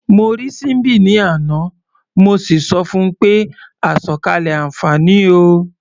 Mo rí Síḿbì ní àná, mo sì sọ fun pé "àsọ̀kalẹ̀ àǹfààní o".